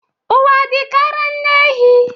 Ụwa dịka ara nne ehi..